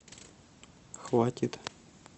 хватит